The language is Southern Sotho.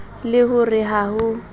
le ho re ha ho